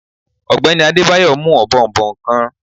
Ogbeni Adebayo mu òbòònbòn kan.